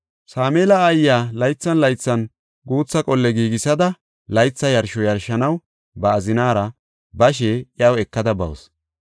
Sameela aayiya laythan laythan guutha qolle giigisada, laytha yarsho yarshanaw ba azinaara bashe iyaw ekada bawusu.